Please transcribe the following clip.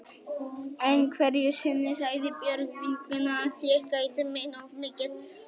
Einhverju sinni sagði Björg vinkona að ég gætti mín of mikið.